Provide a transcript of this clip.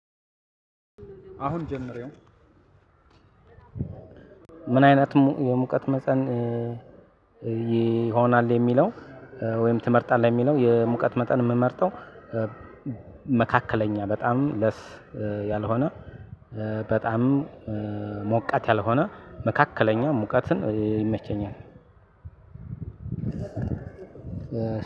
አሁን ጀመር ይሄው። ምን አይነት የሙቀት መጠን ይሆናል የሚለው ወይም ትመርጣለህ የሚለው የሙቀት መጠን ምመርጠው። መካከለኛ በጣም ለስ ያልሆነ በጣም ሞቃት ያልሆነ መካከለኛ ሙቀትን ይመቸኛል።